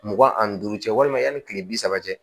Mugan ani duuru cɛ walima yanni kile bi saba cɛ